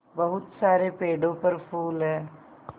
बहुत सारे पेड़ों पर फूल है